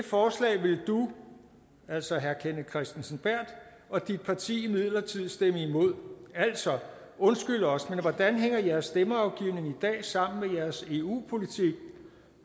forslag vil du altså herre kenneth kristensen berth og dit parti imidlertid stemme imod altså undskyld os men hvordan hænger jeres stemmeafgivning i dag sammen med jeres eu politik